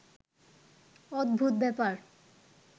অদ্ভুত ব্যাপার